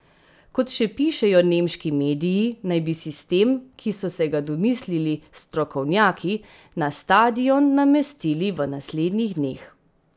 Kot še pišejo nemški mediji, naj bi sistem, ki so se ga domislil strokovnjaki, na stadion namestili v naslednjih dneh.